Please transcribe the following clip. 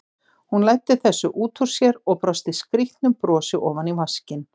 Hún læddi þessu út úr sér og brosti skrýtnu brosi ofan í vaskinn.